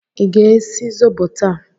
Ị ga-esi zobo taa?